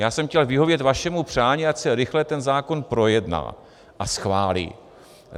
Já jsem chtěl vyhovět vašemu přání, ať se rychle ten zákon projedná a schválí.